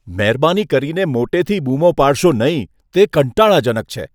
મહેરબાની કરીને મોટેથી બૂમો પાડશો નહીં, તે કંટાળાજનક છે.